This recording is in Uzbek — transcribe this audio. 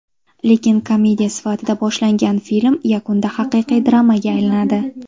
Lekin komediya sifatida boshlangan film yakunda haqiqiy dramaga aylanadi.